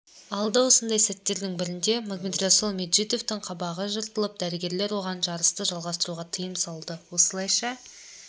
алды осындай сәттердің бірінде магомедрасул меджидовтің қабағы жыртылып дәрігерлер оған жарысты жалғастыруға тыйым салды осылайша